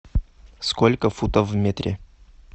сколько футов в метре